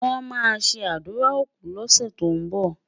wón má sé ádùrá òkú lose tó n bó